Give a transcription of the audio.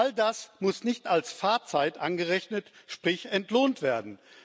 All das muss nicht als Fahrzeit angerechnet sprich entlohnt werden.